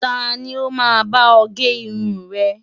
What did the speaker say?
Ta ni ó máa bá ọ gé irun rẹ?